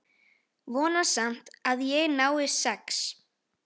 Vona samt að ég nái sex.